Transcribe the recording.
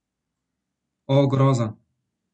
O, groza!